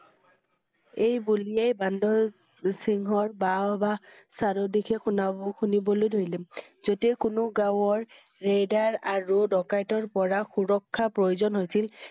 এই বুলিয়ে বান্দৰ~সিংহৰ বাহঃ বাহঃ চাৰিওদিশে শুনা~শুনিবলৈ ধৰিলে। যেতিয়া কোনো গাঁৱৰ ৰেইদৰ আৰু ডকাইতৰ পৰা সুৰক্ষা প্ৰয়োজন হৈছিল